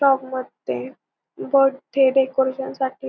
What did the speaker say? shop मध्ये birthday साठी --